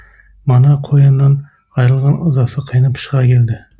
мана қояннан айырылған ызасы қайнап шыға келді